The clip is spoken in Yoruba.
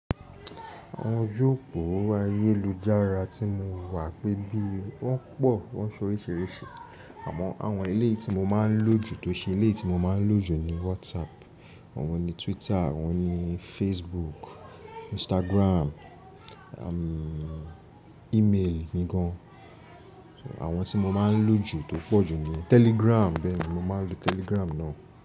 Àwọn oju opo ayélujára tí mo wà pẹ́ bí wọ́n pọ̀, wọ́n so oríṣiríṣi. Àmọ́ àwọn eleyii tí mo máa ń lòjù tó ṣe ilé tí mo máa ń lòjù ni WhatsApp, àwọn ni Twitter, àwọn ni Facebook, Instagram, e-mail mí gan. Àwọn tí mo máa ń lòjù tó pọ̀ jù ni Telegram bẹ́ẹ̀ ni mo máa ń lo Telegram ná.